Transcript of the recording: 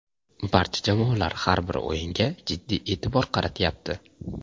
Barcha jamoalar har bir o‘yinga jiddiy e’tibor qaratyapti.